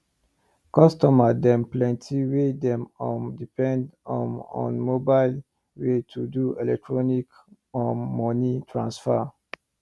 customer dem plenty wey dey um depend um on mobile way to do electronic um moni transfer